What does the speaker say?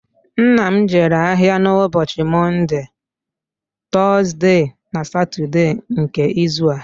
Nna m jere ahìa n'ụbọchi Mọnde, Tọzde na Satọde nke izu a